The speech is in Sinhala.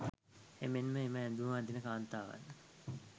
එමෙන්ම එම ඇඳුම අදින කාන්තාවන්